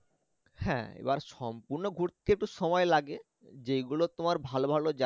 হ্যাঁ এবার সম্পূর্ন ঘুরতে একটু সময় লাগে যেই গুলো তোমার ভালো ভালো জায়